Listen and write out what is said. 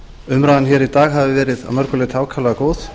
umræðan í dag hafi verið að mörgu leyti ákaflega góð